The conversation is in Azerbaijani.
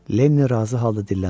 Lenni razı halda dilləndi.